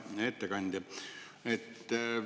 Hea ettekandja!